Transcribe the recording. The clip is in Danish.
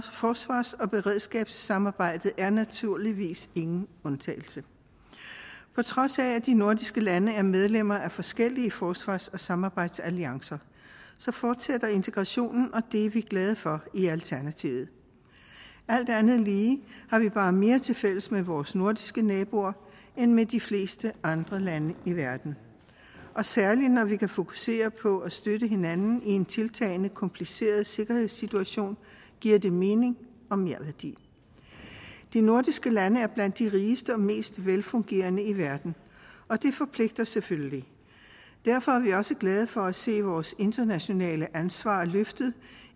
forsvars og beredskabssamarbejdet er naturligvis ingen undtagelse på trods af at de nordiske lande er medlemmer af forskellige forsvars og samarbejdsalliancer fortsætter integrationen og det er vi glade for i alternativet alt andet lige har vi bare mere tilfælles med vores nordiske naboer end med de fleste andre lande i verden og særlig når vi kan fokusere på at støtte hinanden i en tiltagende kompliceret sikkerhedssituation giver det mening og merværdi de nordiske lande er blandt de rigeste og mest velfungerende i verden og det forpligter selvfølgelig derfor er vi også glade for at se vores internationale ansvar løftet